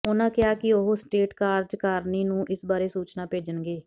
ਉਨ੍ਹਾਂ ਕਿਹਾ ਕਿ ਉਹ ਸਟੇਟ ਕਾਰਜਕਾਰਨੀ ਨੂੰ ਇਸ ਬਾਰੇ ਸੂਚਨਾ ਭੇਜਣਗੇ